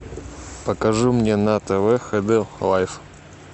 покажи мне на тв хд лайф